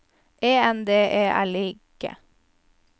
E N D E L I G